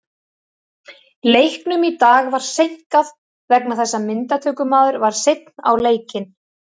Leiknum í dag var seinkað vegna þess að myndatökumaður var seinn á leikinn.